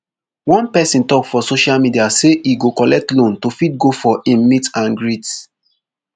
one pesin tok for social media say e go collect loan to fit go for im meet and greet